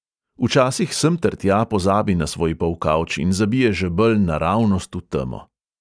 Včasih semtertja pozabi na svoj polkavč in zabije žebelj naravnost v temo.